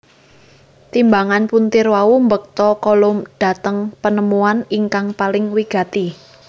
Timbangan puntir wau mbekta Coulomb dhateng penemuan ingkang paling wigati